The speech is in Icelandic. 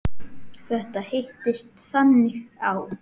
Þetta hittist þannig á.